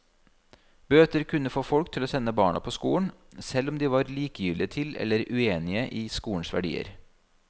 Bøter kunne få folk til å sende barna på skolen, selv om de var likegyldige til eller uenige i skolens verdier.